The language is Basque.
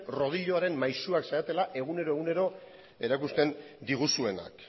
rodiloaren maisuak zaretela egunero erakusten diguzuenak